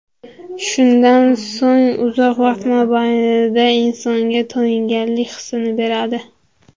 Shundan so‘ng uzoq vaqt mobaynida insonga to‘yinganlik hisini beradi.